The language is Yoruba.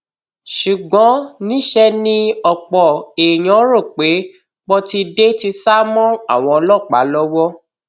ṣùgbọn níṣẹ ni ọpọ èèyàn rò pé pọtidé ti sá mọ àwọn ọlọpàá lọwọ